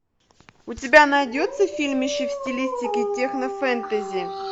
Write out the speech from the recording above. у тебя найдется фильмище в стилистике технофэнтези